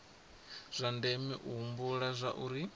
zwa ndeme u humbula zwauri